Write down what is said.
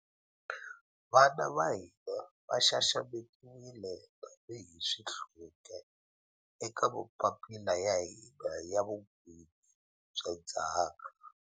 Vana va hina va xaxametiwile tanihi swihluke eka mapapila ya hina ya vun'wini bya ndzhaka